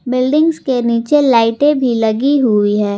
Buildings के नीचे लाइटें भी लगी हुई है।